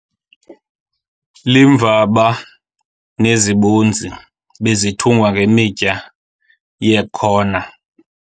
Iimvaba nezibozi bezithungwa ngemitya ye] khona.